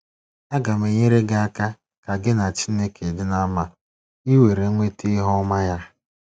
Aga m enyere gị aka ka gị na Chineke dị ná mma ka ị were nweta ihu ọma ya.